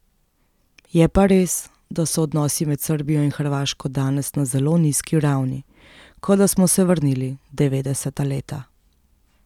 Je pa res, da so odnosi med Srbijo in Hrvaško danes na zelo nizki ravni, kot da smo se vrnili v devetdeseta leta.